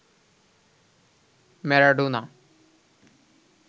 Maradona